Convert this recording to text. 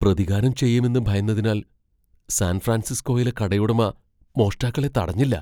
പ്രതികാരം ചെയ്യുമെന്ന് ഭയന്നതിനാൽ സാൻ ഫ്രാൻസിസ്കോയിലെ കടയുടമ മോഷ്ടാക്കളെ തടഞ്ഞില്ല.